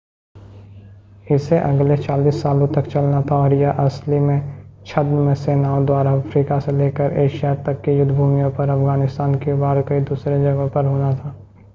इसे अगले 40 सालों तक चलना था और यह असली में छद्म सेनाओं द्वारा अफ़्रीका से लेकर एशिया तक की युद्धभूमियों पर अफ़गानिस्तान क्यूबा और दूसरी कई जगहों पर होना था